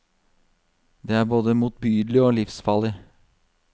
Det er både motbydelig og livsfarlig.